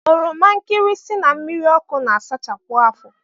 Oromankirisi na mmiriọkụ na-asachapụ afọ